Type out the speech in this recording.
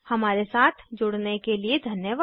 हमारे साथ जुड़ने के लिए धन्यवाद